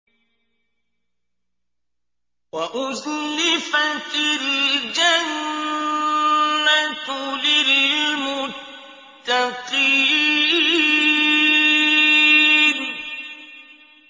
وَأُزْلِفَتِ الْجَنَّةُ لِلْمُتَّقِينَ